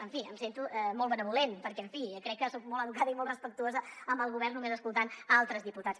en fi em sento molt benèvola perquè en fi crec que soc molt educada i molt respectuosa amb el govern només escoltant altres diputats